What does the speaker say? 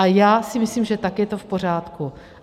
A já si myslím, že tak je to v pořádku.